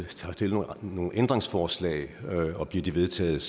vi har stillet nogle ændringsforslag og bliver de vedtaget